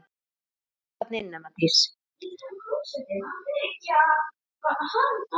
Af hverju flúði ég?